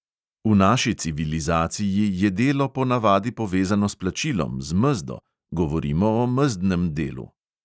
V naši civilizaciji je delo po navadi povezano s plačilom, z mezdo, govorimo o mezdnem delu.